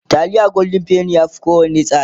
taliyar golden penny ya Fi kowanne tsada